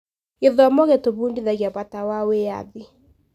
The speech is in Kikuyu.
Gĩthomo gĩtũbundithagia bata wa wĩyathi.